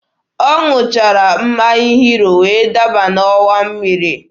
Ọ ṅụchara mmanya hiro wee daba n'ọwa mmiri